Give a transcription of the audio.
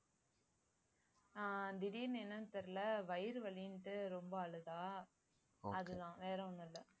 ஆஹ் திடீர்ன்னு என்னன்னு தெரியலே வயிறு வலின்னுட்டு ரொம்ப அழுதா அதுதான் வேற ஒண்ணும் இல்லை